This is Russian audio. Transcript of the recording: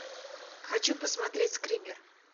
хочу посмотреть скример